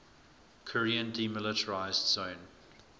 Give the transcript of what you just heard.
korean demilitarized zone